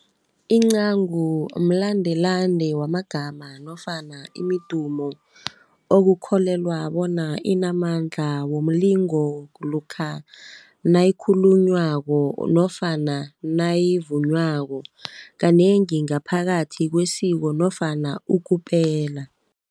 Incagu mlandelande wamagama nofana imidumo okukholelwa bona inamandla, womlingo lokha nayikhulunywako nofana nayivunywako kanengi ngaphakathi kwesiko nofana ukupela